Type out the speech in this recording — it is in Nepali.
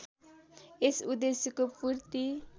यस उद्देश्यको पूर्ति